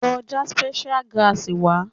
Lọ já spear Grass wá!